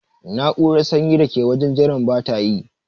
Na'urar sanyin da ke wajen jiran bata yi.